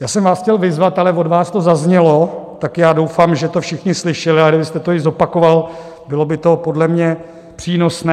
Já jsem vás chtěl vyzvat, ale od vás to zaznělo, tak já doufám, že to všichni slyšeli, a kdybyste to i zopakoval, bylo by to podle mě přínosné.